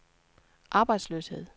arbejdsløshed